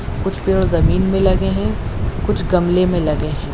कुछ पेड़ ज़मीन में लगे हैं कुछ गमले में लगे हैं।